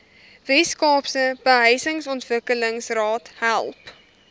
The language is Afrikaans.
weskaapse behuisingsontwikkelingsraad help